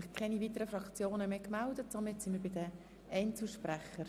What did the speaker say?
Ich bitte Sie, diese Motion anzunehmen und nicht abzuschreiben.